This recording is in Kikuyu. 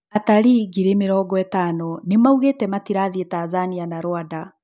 Atarii ngiri mĩrongo ĩtano nĩmaugĩte matirathiĩ Tanzania na Rwanda